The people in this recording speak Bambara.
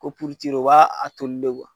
Ko o b'a a toli de